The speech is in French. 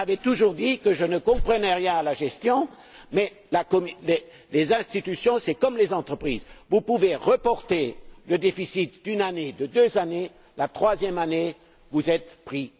On m'avait toujours dit que je ne comprenais rien à la gestion, mais les institutions, c'est comme les entreprises. Vous pouvez reporter un déficit d'une année, de deux années, mais la troisième année, vous êtes pris.